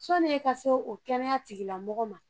Sɔnie ka se o kɛnɛya tigila mɔgɔ ma